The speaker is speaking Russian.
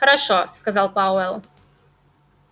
хорошо сказал пауэлл